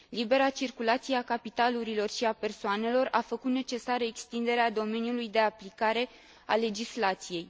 Libera circulație a capitalurilor și a persoanelor a făcut necesară extinderea domeniului de aplicare a legislației.